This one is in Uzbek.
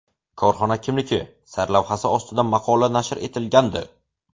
Korxona kimniki?” sarlavhasi ostida maqola nashr etilgandi.